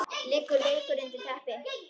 Liggur veikur undir teppi.